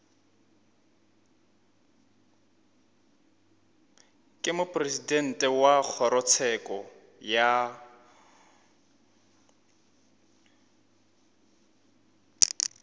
ke mopresidente wa kgorotsheko ya